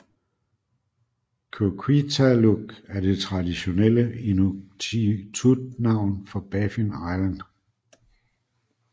Qikiqtaaluk er det traditionelle inuktitut navn for Baffin Island